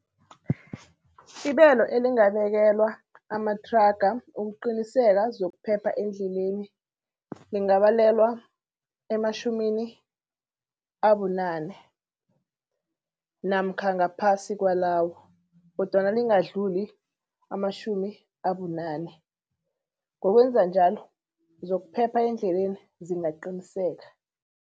Ibelo elingabekelwa amathraga ukuqiniseka zokuphepha endleleni, lingabalelwe ematjhumini abunane namkha ngaphasi kwalawo kodwana lingadluli amatjhumi abunane. Ngokwenza njalo zokuphepha endleleni zingaqinisekisa.